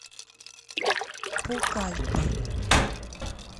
пукальпа